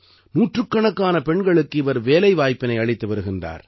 நூற்றுக்கணக்கான பெண்களுக்கு இவர் வேலைவாய்ப்பினை அளித்து வருகின்றார்